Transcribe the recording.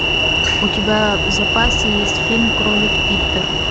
у тебя в запасе есть фильм кролик питер